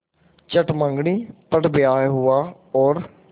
चट मँगनी पट ब्याह हुआ और